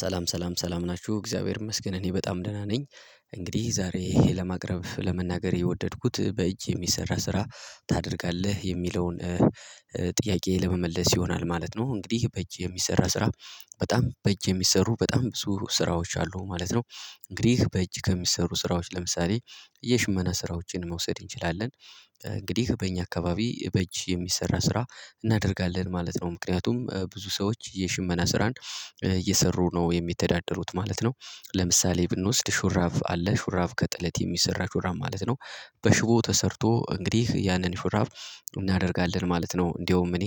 ሰላም ሰላም ሰላም ናችሁ እግዚአብሔር ይመስገን እኔ በጣም ደህና ነኝ። እንግዲህ ዛሬ ይሄ ለማቅረብ ለመናገር የወደድኩት በእጅ የሚሰራ ስራ ታደርጋለህ የሚለውን ጥያቄ ለመመለስ ይሆናል ማለት ነው። እንግዲህ በእጅ የሚሰራ ስራ በጣም በእጅ የሚሰሩ በጣም ብዙ ስራዎች አሉ ማለት ነው። እንግዲህ በእጅ ከሚሰሩ ስራዎች ለምሳሌ የሽመና ስራዎችን መውሰድ እንችላለን እንግዲህ በእኛ አካባቢ በእጅ የሚሰራ ስራ እናደርጋለን ማለት ነው ምክንያቱም ብዙ ሰዎች የሽመና ስራን እየሰሩ ነው የሚተዳደሩት ማለት ነው። ለምሳሌ ብንወስድ ሹራብ አለ ሹራብ ከጥለት የሚሰራ ሹራብ ማለት ነው። በሽቦ ተሰርቶ እንግዲህ ያንን ሹራብ እናደርጋለን ማለት ነው። እንደውም እኔ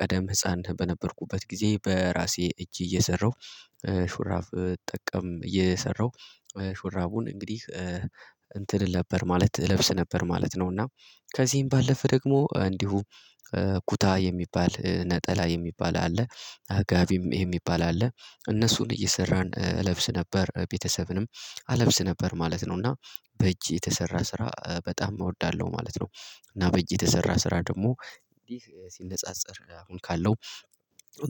ቀደም ህፃን በነበርኩበት ጊዜ በራሴ እጅ እየሰራሁ ሹራብ እጠቀም እየሰራሁ እንግዲህ እንትን እል ነበር ማለት እለብስ ነበር ማለት ነው። እና ከዚህም ባለፈ ደግሞ እንዲሁ ኩታ የሚባል ነጠላ የሚባል አለ። ጋቢም የሚባል አለ እነሱን እየሰራን እለብስ ነበር ቤተሰብንም አለብስ ነበር ማለት ነው። እና በእጅ የተሰራ ስራ በጣም እወዳለሁ ማለት ነው። እና በየተሰራ ስራ ደግሞ እንዴ ሲነጻጸር አሁን ካለው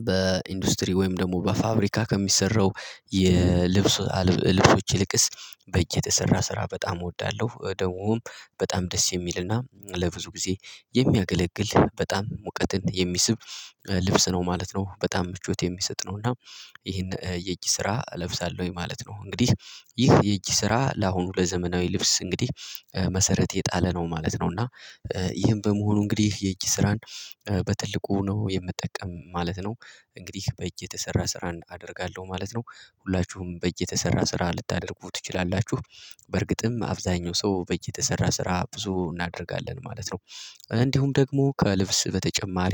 በኢንዱስትሪ ወይም ደግሞ በፋብሪካ ከሚሰራው የልብስ ልብሶች ይልቅስ በጅ በየተሰራ ስራ በጣም እወዳለሁ ደግሞም በጣም ደስ የሚልና ለብዙ ጊዜ የሚያገለግል በጣም ሙቀትን የሚስብ ልብስ ነው ማለት ነው። በጣም ምቾት የሚሰጥ ነው እና ይሄን የእጅ ስራ እለብሳለሁ ወይ ማለት ነው። እንግዲህ ይህ የእጅ ስራ ለአሁኑ ለዘመናዊ ልብስ እንግዲህ መሰረት የጣለ ነው ማለት ነው። እና ይህን በመሆኑ እንግዲህ የእጅ ስራን በትልቁ ነው የምጠቀም ማለት ነው። እንግዲህ በእጅ የተሰራ ስራ አደርጋለሁ ማለት ነው። ሁላችሁም በእጅ የተሰራ ስራ ልታደርጉ ትችላላችሁ በርግጥም አብዛኛው ሰው በጅ የተሰራ ስራ ብዙ እናደርጋለን ማለት ነው። እንዲሁም ደግሞ ከልብስ በተጨማሪ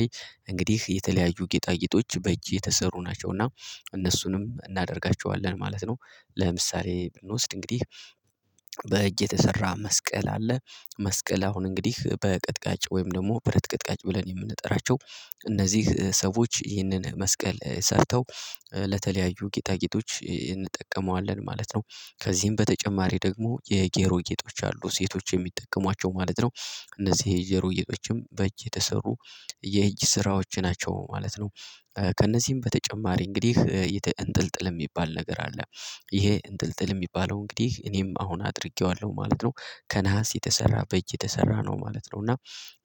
እንግዲህ የተለያዩ ጌጣጌጦች በእጅ የተሰሩ ናቸው እና እነሱንም እናደርጋቸዋለን ማለት ነው። ለምሳሌ ብንወስድ እንግዲህ በእጅ የተሰራ መስቀል አለ መስቀል አሁን እንግዲህ በቀጥቃጭ ወይም ደግሞ በረት ቀጥቃጭ ብለን የምንጠራቸው እነዚህ ሰዎች ይህንን መስቀል ሰርተው ለተለያዩ ጌጣጌጦች እንጠቀመዋለን ማለት ነው። ከዚህም በተጨማሪ ደግሞ የጆሮ ጌጦች አሉ ሴቶች የሚጠቀሟቸው ማለት ነው። እነዚህ የጌሮ ጌጦችም በእጅ የተሰሩ የእጅ ስራዎች ናቸው ማለት ነው። ከእነዚህም በተጨማሪ እንግዲህ እንጥልጥል የሚባል ነገር አለ ይሄ እንጥልጥል የሚባለው እንግዲህ እኔም አሁን አድርጌዋለሁ ማለት ነው። ከነሃስ የተሰራ በእጅ የተሰራ ነው ማለት ነው። እና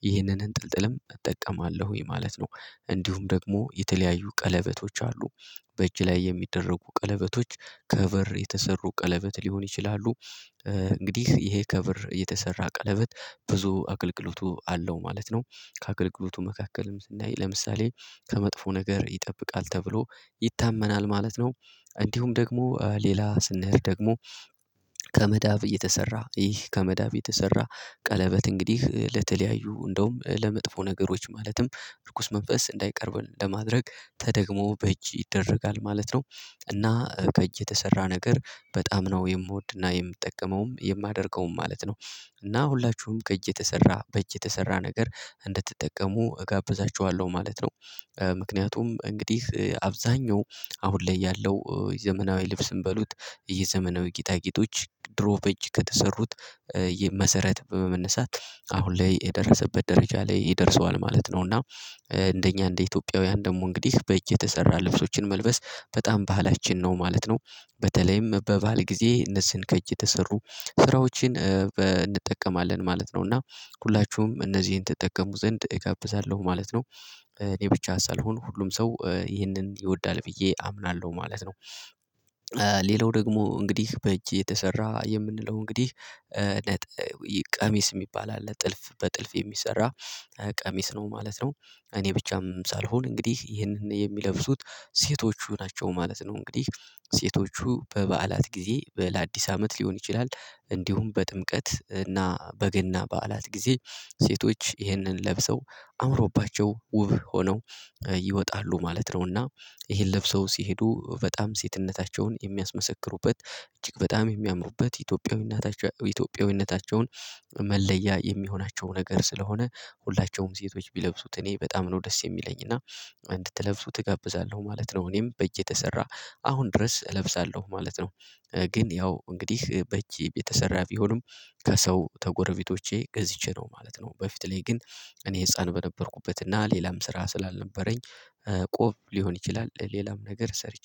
ይህንን እንጥልጥልም እጠቀማለሁ ይሄ ማለት ነው። እንዲሁም ደግሞ የተለያዩ ቀለበቶች አሉ በእጅ ላይ የሚደረጉ ቀለበቶች ከበር የተሰሩ ቀለበት ሊሆን ይችላሉ። እንግዲህ ይሄ ከብር የተሰራ ቀለበት ብዙ አገልግሎቱ አለው ማለት ነው። ከአገልግሎቱ መካከልም ለምሳሌ ከመጥፎ ነገር ይጠብቃል ተብሎ ይታመናል ማለት ነው። እንዲሁም ደግሞ ሌላ ስንሄድ ደግሞ ከመዳብ እየተሰራ ይህ ከመዳብ የተሰራ ቀለበት እንግዲህ ለተለያዩ እንደውም ለመጥፎ ነገሮች ማለትም እርኩስ መንፈስ እንዳይቀርብ ለማድረግ ተደግሞ በእጅ ይደረጋል ማለት ነው። እና ከእጅ የተሰራ ነገር በጣም ነው የምወድና የምትጠቀመውም የማደርገውም ማለት ነው። እና ሁላችሁም ከእጅ የተሰራ በእጅ የተሰራ ነገር እንደትጠቀሙ እጋብዛችዋለሁ ማለት ነው። ምክንያቱም እንግዲህ አብዛኛው አሁን ላይ ያለው የዘመናዊ ልብስም በሉት የዘመናዊ ጌጣጌጦች ድሮ በእጅ ከተሰሩት መሰረት በመመነሳት አሁን ላይ የደረሰበት ደረጃ ላይ ደርሰዋል ማለት ነው። እና እንደኛ እንደ ኢትዮጵያውያን ደግሞ እንግዲህ በእጅ የተሰራ ልብሶችን መልበስ በጣም ባህላችን ነው ማለት ነው። በተለይም በበዓል ጊዜ እነዚህን ከእጅ ተሰሩ ስራዎችን እንጠቀማለን ማለት ነው። እና ሁላችሁም እነዚህን ትጠቀሙ ዘንድ እጋብዛለሁ ማለት ነው። እኔ ብቻ ሳልሆን ሁሉም ሰው ይህንን ይወዳል ብዬ አምናለሁ ማለት ነው። ሌላው ደግሞ እንግዲህ በእጅ የተሰራ የምንለው እንግዲህ ቀሚስ የሚባል አለ ጥልፍ በጥልፍ የሚሰራ ቀሚስ ነው ማለት ነው። እኔ ብቻም ሳልሆን እንግዲህ ይህንን የሚለብሱት ሴቶቹ ናቸው ማለት ነው። እንግዲህ ሴቶቹ በበዓላት ጊዜ ለአዲስ አመት ሊሆን ይችላል እንዲሁም በጥምቀት እና በገና በዓላት ጊዜ ሴቶች ይህንን ለብሰው አምሮባቸው ውብ ሆነው ይወጣሉ ማለት ነውና። ይሄን ለብሰው ሲሄዱ በጣም ሴትነታቸውን የሚያስመሰክሩበት እጅግ በጣም የሚያምሩበት ኢትዮጵያዊነታቸውን መለያ የሚሆናቸው ነገር ስለሆነ ሁላችሁም ሴቶች ቢለብሱት እኔ በጣም ነው ደስ የሚለኝ እና እንድትለብሱ እጋብዛለሁ ማለት ነው። እኔም በእጅ የተሰራ አሁን ድረስ እለብሳለሁ ማለት ነው። ግን ያው እንግዲህ በእጅህ ቤት የተሰራ ቢሆንም ከሰው ተጎረቤቶቼ ገዝቼ ነው ማለት ነው። በፊት ላይ ግን እኔ ህፃን በነበርኩበት እና ሌላም ስራ ስላልነበረኝ ቆብ ሊሆን ይችላል ሌላም ነገር ሰርቼ